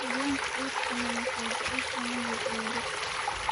Haweeneyda uurka leh waxay jeceshahay inay ooydo